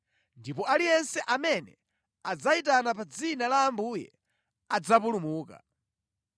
Ndipo aliyense amene adzayitana pa dzina la Ambuye adzapulumuka.’